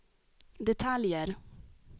detaljer